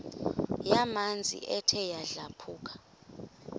yamanzi ethe yadlabhuka